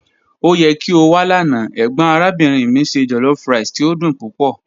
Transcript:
O yẹ ki o wa lana, egbon arabinrin mi se jollofrice ti o dun pupọ.